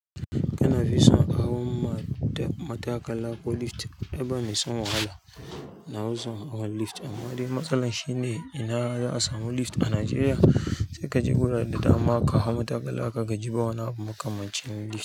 Kana fi son hawan ma, ta, mataƙala ko lift? Ai ba mai son wahala, nafi son hawan lift amma dai matsalar shine ina za'a samu lift a najeriya? Sai kaje wurare da dama ka hau mataƙala ka gaji bawani abu makamancin lift.